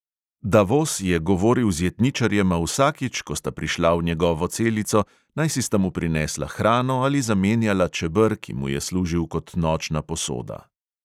Davos je govoril z jetničarjema vsakič, ko sta prišla v njegovo celico, najsi sta mu prinesla hrano ali zamenjala čeber, ki mu je služil kot nočna posoda.